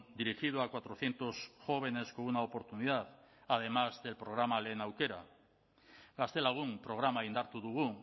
dirigido a cuatrocientos jóvenes con una oportunidad además del programa lehen aukera gaztelagun programa indartu dugu